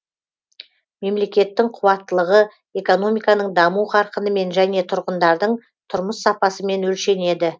мемлекеттің қуаттылығы экономиканың даму қарқынымен және тұрғындардың тұрмыс сапасымен өлшенеді